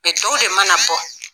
tɔw de mana bɔ.